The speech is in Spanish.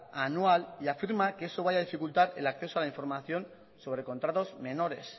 a anual y afirma que eso vaya a dificultar el acceso a la información sobre contratos menores